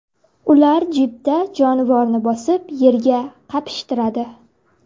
Ular jipda jonivorni bosib, yerga qapishtiradi.